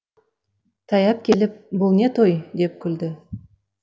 таяп келіп бұл не той деп күлді